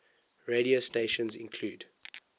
radio stations include